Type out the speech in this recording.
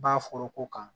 Ba foroko kan